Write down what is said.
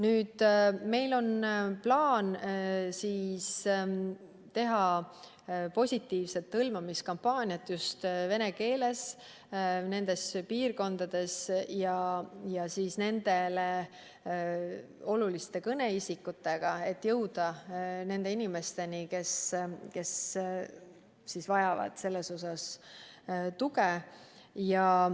Aga meil on plaan teha nendes piirkondades positiivset hõlmamiskampaaniat just vene keeles ja nendele oluliste kõneisikutega, et jõuda inimesteni, kes selles osas tuge vajavad.